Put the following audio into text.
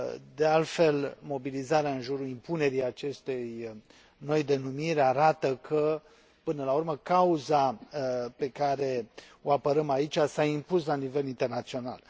De altfel, mobilizarea în jurul impunerii acestei noi denumiri arată că, până la urmă, cauza pe care o apărăm aici s a impus la nivel internațional.